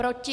Proti?